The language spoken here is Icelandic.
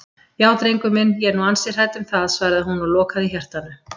Já drengur minn, ég er nú ansi hrædd um það, svaraði hún og lokaði hjartanu.